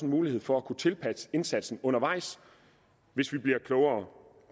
mulighed for at kunne tilpasse indsatsen undervejs hvis vi bliver klogere